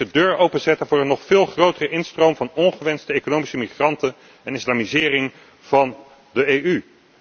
Het is de deur openzetten voor een nog veel grotere instroom van ongewenste economische migranten en de islamisering van de EU.